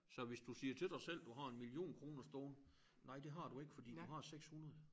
Så hvis du siger til dig du har 1 million kroner stående nej det har du ikke for du har 600